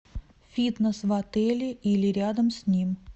фитнес в отеле или рядом с ним